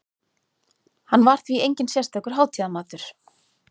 Hann var því enginn sérstakur hátíðamatur.